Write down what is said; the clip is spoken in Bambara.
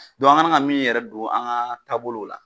Dɔn an kana ka min yɛrɛ don an ga taabolow la